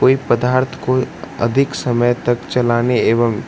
कोई पदार्थ कोई अधिक समय तक चलाने एवं --